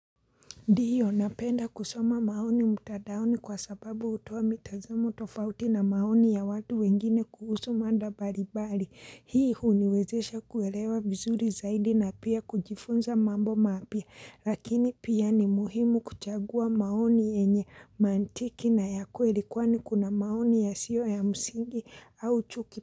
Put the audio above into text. Ndio napenda kusoma maoni mtandaoni kwa sababu hutoa mitazamo tofauti na maoni ya watu wengine kuhusu mada mbalimbali. Hii huniwezesha kuelewa vizuri zaidi na pia kujifunza mambo mapya. Lakini pia ni muhimu kuchagua maoni yenye mantiki na ya kweli kwani kuna maoni yasiyo ya msingi au chuki.